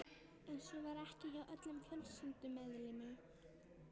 En svo var ekki hjá öllum fjölskyldumeðlimum.